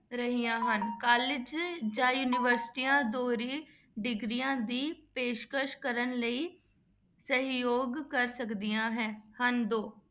ਰਹੀਆਂ ਹਨ college ਜਾਂ ਯੂਨੀਵਰਸਟੀਆਂ ਦੋਹਰੀ degrees ਦੀ ਪੇਸ਼ਕਸ ਕਰਨ ਲਈ ਸਹਿਯੋਗ ਕਰ ਸਕਦੀਆਂ ਹੈਂ ਹਨ ਦੋ।